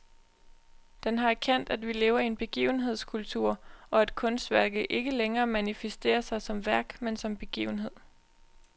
Den har erkendt, at vi lever i en begivenhedskultur, og at kunstværket ikke længere manifesterer sig som værk, men som begivenhed.